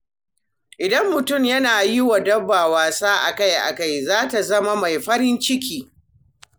Idan mutum yana yiwa dabba wasa akai-akai, za ta zama mai farin ciki.